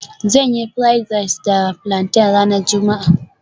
Zan yi fried rice da plantain ranar juma'a